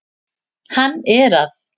Hann er að